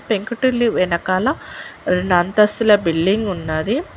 పెంకుటిల్లు వెనకాల రెండు అంతస్తుల బిల్డింగ్ ఉన్నది.